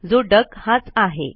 जो डक हाच आहे